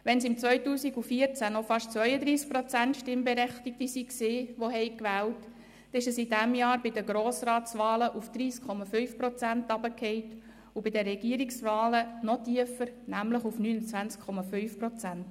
Waren es 2014 noch fast 32 Prozent Stimmberechtigte, die gewählt hatten, ist dieser Anteil bei den Grossratswahlen dieses Jahr auf 30,5 Prozent gefallen, und bei den Regierungsratswahlen ist er noch tiefer gesunken, nämlich auf 29,5 Prozent.